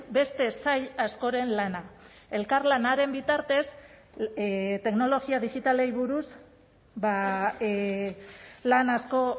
beste sail askoren lana elkarlanaren bitartez teknologia digitalei buruz lan asko